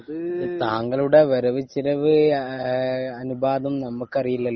താങ്കളുടെ വരവ് ചെലവ് അനുപാതം നമ്മൾക്കറിയില്ലല്ലോ